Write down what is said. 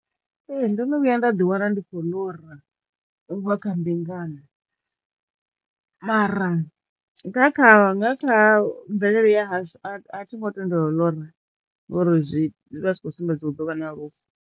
Ee. Ndono vhuya nda ḓi wana ndi khou ḽora u vha kha mbingano mara nga kha nga kha mvelele ya hashu a thi a thi ngo tendelwa u ḽora ngori zwi vha zwi khou sumbedza hu ḓo vha na lufu.